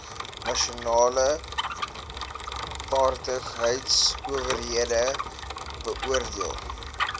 nasionale vaardigheidsowerheid beoordeel